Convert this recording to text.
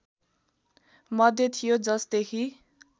मध्ये थियो जसदेखि